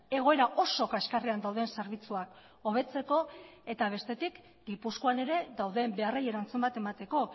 egoera oso kaxkarrean dauden zerbitzuak hobetzeko eta bestetik gipuzkoan ere dauden beharrei erantzun bat emateko